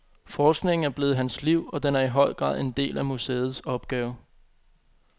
Forskningen er blevet hans liv, og den er i høj grad en del af museets opgave.